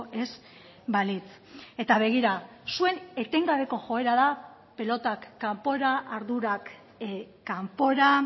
ez balitz eta begira zuen etengabeko joera da pilotak kanpora ardurak kanpora